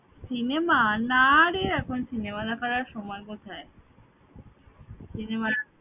Cinema? নারে এখন cinema দেখার আর সময় কোথায় সিনেমা